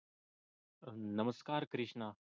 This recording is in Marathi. नमस्कार कृष्णा